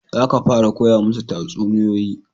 Za ka fara koya musu tatsuniyoyi